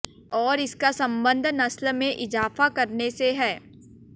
और इसका संबंध नस्ल में इज़ाफ़ा करने से है